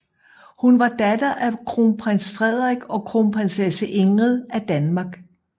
Hun var datter af kronprins Frederik og kronprinsesse Ingrid af Danmark